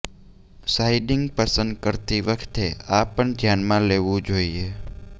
સાઈડિંગ પસંદ કરતી વખતે આ પણ ધ્યાનમાં લેવું જોઈએ